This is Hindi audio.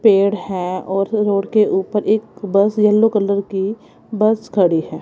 पेड़ हैं और रोड के ऊपर एक बस येलो कलर की बस खड़ी है।